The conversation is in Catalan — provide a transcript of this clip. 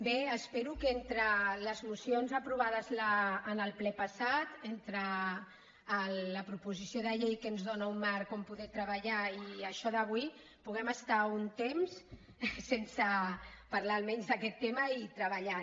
bé espero que entre les mocions aprovades en el ple passat entre la proposició de llei que ens dóna un marc on poder treballar i això d’avui puguem estar un temps sense parlar almenys d’aquest tema i treballant